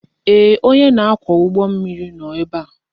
Ee, onye na-akwọ ụgbọ mmiri nọ ebe a